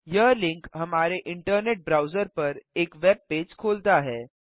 यह लिंक हमारे internet browser पर एक वेब पेज़ खोलता है